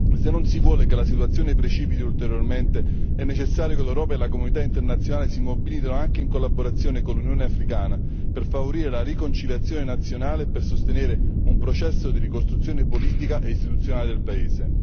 Se non si vuole che la situazione precipiti ulteriormente, è necessario che l'Europa e la comunità internazionale si mobilitino anche in collaborazione con l'Unione Africana per favorire la riconciliazione nazionale e per sostenere un processo di ricostruzione politica e istituzionale del paese.